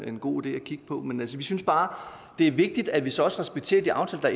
en god idé at kigge på men vi synes bare det er vigtigt at vi så også respekterer de aftaler